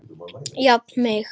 Jafna mig!